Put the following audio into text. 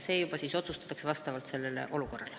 See otsustatakse juba vastavalt konkreetsele olukorrale.